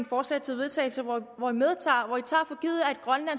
forslag til vedtagelse hvor grønland